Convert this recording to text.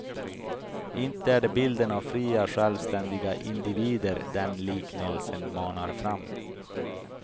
Inte är det bilden av fria, självständiga individer den liknelsen manar fram.